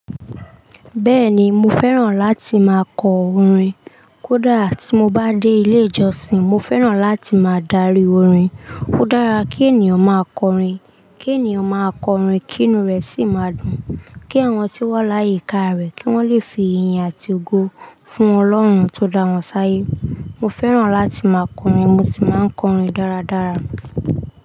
Bẹ́ẹ̀ni mo fẹ́ràn láti máa kọ orin. Ko dá tí mo bá dé ilé ìjọsìn, mo fẹ́ràn láti máa darí orin. Ó dára kí ènìyàn máa kọ orin, kí ènìyàn máa kọ orin kí inú rẹ̀ sì máa dùn, kí àwọn tí oo wa láyìíká rẹ̀ kí wọ́n lè fi iyin àti ogo fún Ọlọ́run tó dá wọn sáyé. Mo fẹ́ràn láti máa kọ orin, mo sì máa kọ orin dáradára.